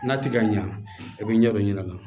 N'a ti ka ɲɛ a bɛ ɲɛ dɔ ɲɛna